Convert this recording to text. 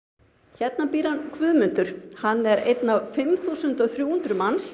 hérna býr Guðmundur hann er einn af fimm þúsund og þrjú hundruð manns